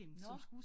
Nåh